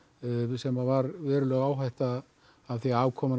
sem að var veruleg áhætta því afkoman að